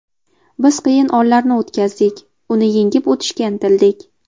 Biz qiyin onlarni o‘tkazdik, uni yengib o‘tishga intildik.